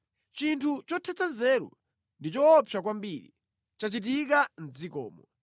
“Chinthu chothetsa nzeru ndi choopsa kwambiri chachitika mʼdzikomo: